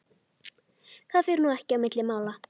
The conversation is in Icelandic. Það fer nú ekki á milli mála